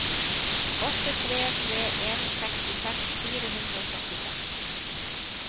åtte tre tre en sekstiseks fire hundre og syttiseks